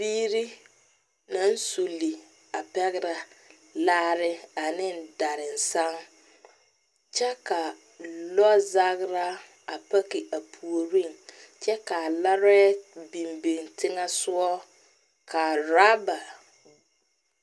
Biiri naŋ suli a pɛgere laare ne darenseŋ kyɛ ka lɔɔ zagera a biŋ a puoriŋ kyɛ kaa laree biŋ biŋ teŋɛ soɔ .